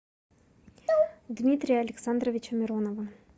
дмитрия александровича миронова